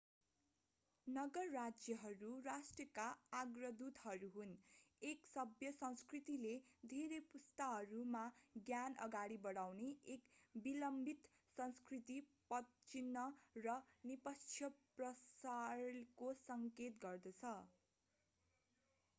नगर-राज्यहरू राष्ट्रहरूका अग्रदूतहरू हुन् एक सभ्य संस्कृतिले धेरै पुस्ताहरूमा ज्ञान अगाडि बनाउने एक विलम्बित सांस्कृतिक पदचिन्ह र निष्पक्ष प्रसारको सङ्केत गर्दछ